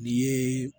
N'i yeee